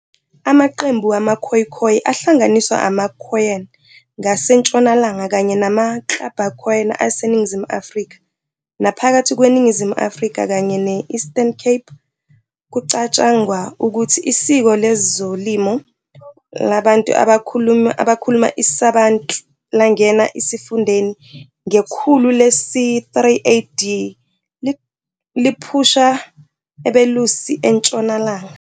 Amaqembu wama-"Khoekhoe" ahlanganiswa ama-Awakhoen ngasentshonalanga, kanye nama-Kx'abakhoena aseNingizimu afrika naphakathi kweNingizimu Afrika, kanye ne-Eastern Cape. Kucatshangwa ukuthi isiko lezolimo labantu abakhuluma isiBantu langena esifundeni ngekhulu lesi-3 AD, liphusha abelusi eNtshonalanga.